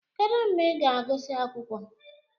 Kedu mgbe ị ga-agụsị akwụkwọ?